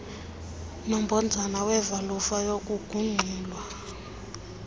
nombhojana wevalufa yokugungxula